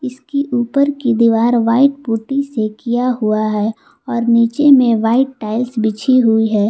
इसकी ऊपर की दीवार व्हाइट पुट्टी से किया हुआ है और नीचे में व्हाइट टाइल्स बिछी हुई है।